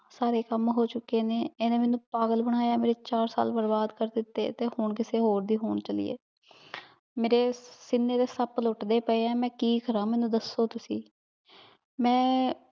ਸਾਰੇ ਕਾਮ ਹੋ ਚੁਕੇ ਨੇ ਏਨੇ ਮੇਨੂ ਪਾਗਲ ਬਨਾਯਾ ਮੇਰੇ ਚਾਰ ਸਾਲ ਬਰਬਾਦ ਕਰ ਦਿਤੇ ਤੇ ਹਨ ਕਿਸੇ ਹੋਰ ਦੀ ਹੋਣ ਚਲੀ ਆਯ ਮੇਰੇ ਸੀਨੇ ਤੇ ਸਾਪ ਲੋਤ੍ਡੇ ਪੇ ਆਯ ਮੈਂ ਕੀ ਕਰਨ ਮੇਨੂ ਦੱਸੋ ਤੁਸੀਂ ਮੈਂ